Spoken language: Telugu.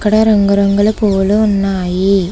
ఇక్కడ రంగు రంగుల పువ్వులు ఉన్నాయి.